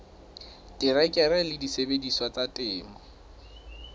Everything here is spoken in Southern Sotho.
terekere le disebediswa tsa temo